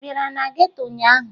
Ị bịara na geto ụnyaahụ?